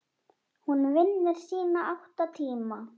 Hún vinnur sína átta tíma.